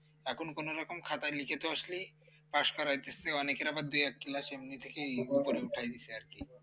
এখন কোনোরকম খাতায় লিখে তো আসলেই পাশ করাইতেছে অনেকের আবার দুই এক class এমনি থেকেই উপরে উঠায়ে দিচ্ছে আর কি